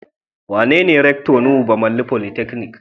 Wanene Rector Nuhu Bamalli polytechnic?